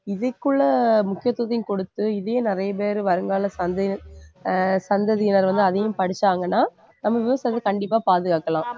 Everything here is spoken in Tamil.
இதுக்குள்ள முக்கியத்துவத்தையும் கொடுத்து இதையும் நிறைய பேர் வருங்கால சந்ததி~ ஆஹ் சந்ததியினர் வந்து அதையும் படிச்சாங்கன்னா நம்ம விவசாயத்தை கண்டிப்பா பாதுகாக்கலாம்